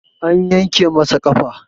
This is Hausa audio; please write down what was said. An yanke masa ƙafa